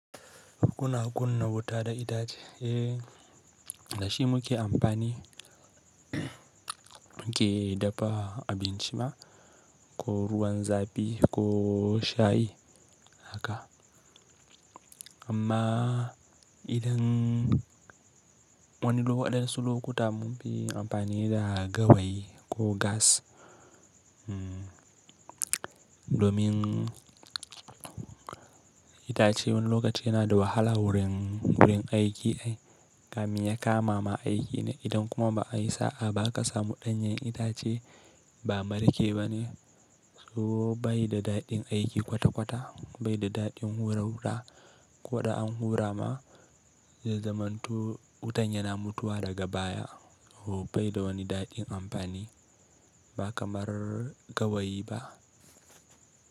Kuna kunna wuta da itace, eh da shi muke amfani muke dafa abinci ma ko ruwan zafi ko shayi haka. Amma idan wani wasansu lokutan mun fi amfani da gawayi ko gas domin itace wani lokaci yana da wahala wurin aiki ai. Kamin ya kama ma aiki ne idan kuma ba a yi sa'a ba ka samu ɗanyen itace ba marke bane. So bai da daɗin aiki kwata kwata, bai da daɗin hura wuta. Ko da an hura ma zai zamanto wutan yana mutuwa daga baya. O bai da wani daɗin amfani ba kamar gawayi ba.